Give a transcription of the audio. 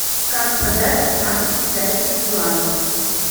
как продать семнадцать китайских юаней